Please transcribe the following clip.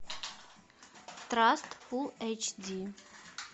траст фулл эйч ди